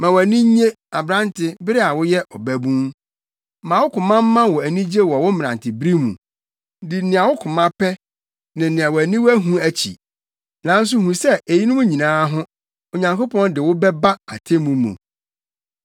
Ma wʼani nnye, aberante, bere a woyɛ ɔbabun, ma wo koma mma wo anigye wɔ wo mmerantebere mu. Di nea wo koma pɛ ne nea wʼaniwa hu akyi, nanso hu sɛ eyinom nyinaa ho Onyankopɔn de wo bɛba atemmu mu.